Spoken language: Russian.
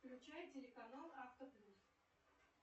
включай телеканал авто плюс